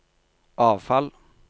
avfall